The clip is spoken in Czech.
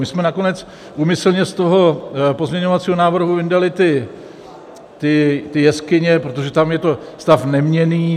My jsme nakonec úmyslně z toho pozměňovacího návrhu vyndali ty jeskyně, protože tam je to stav neměnný.